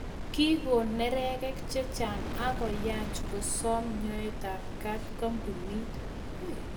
Kikoon neregek chechang akoyaach kosaam nyoet ap kaat kampunit